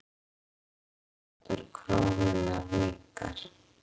Kaupmáttur krónunnar minnkar.